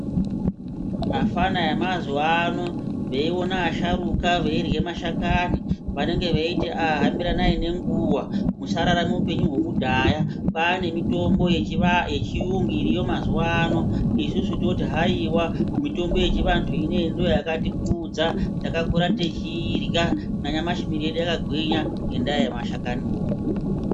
Afana emazuwa ano veiona asharuka veirye mashakani vanenge veiti haa hambiranai nenguwa musararame upenyu hwekudhaya. Kwane mitombo yechiyungu iriyo mazuwano. Isusu toti haiwa, mitombo yechivantu ineyi ndoyakatikudza. Takakura techiirya. Nanyamashi miiri yedu yakagwinya ngendaa yemashakaniwo.